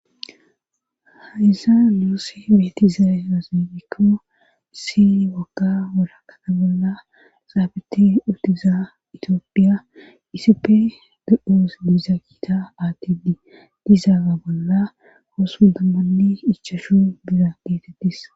Ha,izaa loosse meetizaae razifikko si wogga worakkata bolla xaabete utiza itoophiya isippe dedoos liiza kiita aattidi dizaaga bolla koosudammanni ichashu bira geetettis